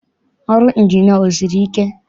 Ọrụ Ịnjinịa esiri ike?